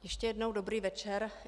Ještě jednou dobrý večer.